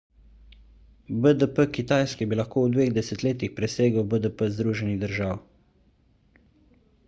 bdp kitajske bi lahko v dveh desetletjih presegel bdp združenih držav